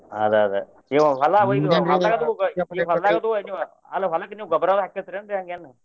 ಅದ ಅದೇ ಅಲ್ಲ ಹೊಲಕ್ಕ್ ನೀವ ಗೊಬ್ರ ಹಾಕೇತ್ರಿ ಹಂಗೇನು.